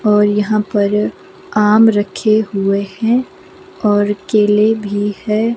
और यहां पर आम रखे हुए हैं और केले भी है।